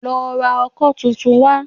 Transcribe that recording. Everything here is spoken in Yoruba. Lọ ra ọkọ́ tuntun wá